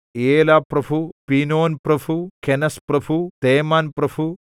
ഏലാപ്രഭു പീനോൻപ്രഭു കെനസ്പ്രഭു തേമാൻപ്രഭു